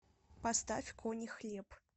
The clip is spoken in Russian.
поставь кони хлеб